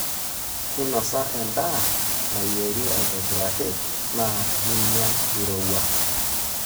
inosa endaa nayiera aitobiraki na ninyia irowua.